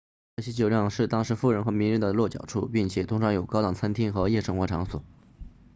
这些酒店是当时富人和名人的落脚处并且通常有高档餐厅和夜生活场所